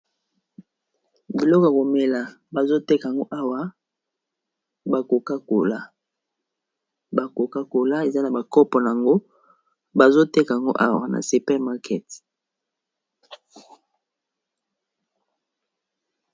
Biloko ya komela, bazo teka yango awa bakokakola. Ba kokakola, eza na ba kopo nango. Bazo teka yango awa na super markete.